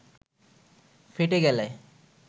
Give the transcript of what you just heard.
ফেঁটে গেলে